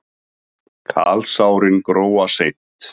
Kalsárin gróa seint.